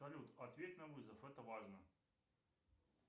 салют ответь на вызов это важно